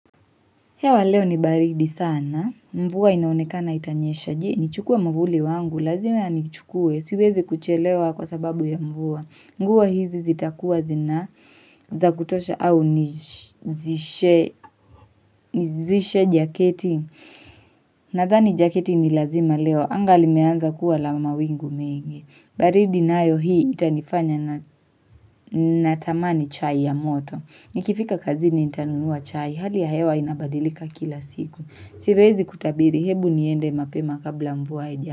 Hewa leo ni baridi sana. Mvua inaonekana itanyesha. Nichukue mwavuli wangu. Lazima nichukue. Siwezi kuchelewa kwa sababu ya mvua. Nguo hizi zitakuwa zina. Za kutosha au nizishe jaketi. Nadhani jaketi ni lazima leo. Anga limeanza kuwa la mawingu mingi. Baridi nayo hii itanifanya natamani chai ya moto. Nikifika kazini nitanunua chai. Hali ya hewa inabadilika kila siku. Siwezi kutabiri hebu niende mapema kabla mvua haija.